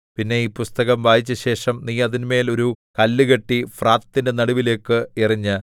പിന്നെ ഈ പുസ്തകം വായിച്ചശേഷം നീ അതിന്മേൽ ഒരു കല്ല് കെട്ടി ഫ്രാത്തിന്റെ നടുവിലേക്ക് എറിഞ്ഞ്